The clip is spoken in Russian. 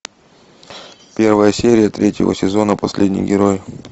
первая серия третьего сезона последний герой